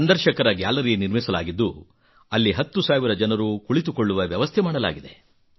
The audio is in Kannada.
ಸಂದರ್ಶಕರ ಗ್ಯಾಲರಿ ನಿರ್ಮಿಸಲಾಗಿದ್ದು ಅಲ್ಲಿ 10 ಸಾವಿರ ಜನರು ಕುಳಿತುಕೊಳ್ಳುವ ವ್ಯವಸ್ಥೆ ಮಾಡಲಾಗಿದೆ